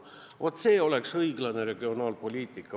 Vaat see oleks õiglane regionaalpoliitika!